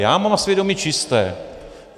Já mám svědomí čisté.